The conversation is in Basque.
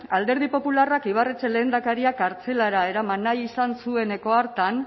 alderdi popularrak ibarretxe lehendakaria kartzelara eraman nahi izan zueneko hartan